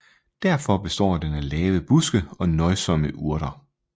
Derfor består den af lave buske og nøjsomme urter